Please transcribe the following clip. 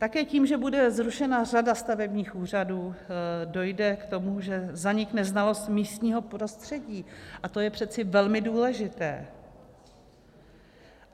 Také tím, že bude zrušena řada stavebních úřadů, dojde k tomu, že zanikne znalost místního prostředí, a to je přece velmi důležité.